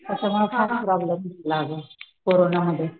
त्याच्या मूळ फार प्रॉब्लेम झाला अगं कोरोना मध्ये,